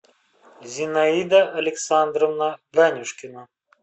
зинаида александровна ганюшкина